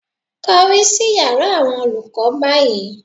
Kọrí sí yàrá àwọn olùkọ́ báyìí